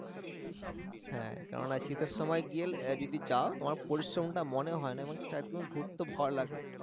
হ্যাঁ কেননা শীতের সময় যদি যাও তোমার পরিশ্রম টা মনে হয় না এবং ঘুরতে ভালো লাগে